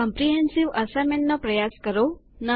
આ comprehensive assignment નો પ્રયાસ કરો